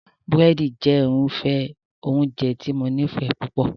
Búrẹ́dì jẹ́ irúfẹ́ oúnjẹ tí mo nífẹ̀ẹ́ púpọ̀